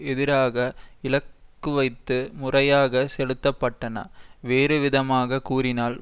எதிராக இலக்குவைத்து முறையாக செலுத்தப்பட்டன வேறுவிதமாக கூறினால்